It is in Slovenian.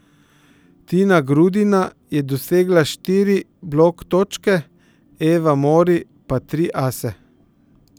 Tina Grudina je dosegla štiri blok točke, Eva Mori pa tri ase.